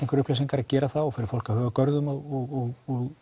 upplýsingar að gera það og fyrir fólk að huga að görðum og